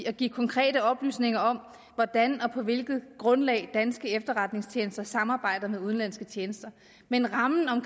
og give konkrete oplysninger om hvordan og på hvilket grundlag danske efterretningstjenester samarbejder med udenlandske tjenester men rammen om